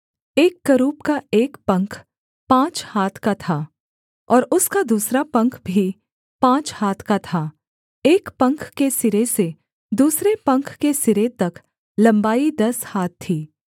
एक करूब का एक पंख पाँच हाथ का था और उसका दूसरा पंख भी पाँच हाथ का था एक पंख के सिरे से दूसरे पंख के सिरे तक लम्बाई दस हाथ थी